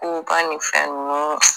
Ko ka ni fɛn nunnu